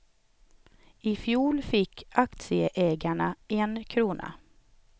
I fjol fick aktieägarna en krona.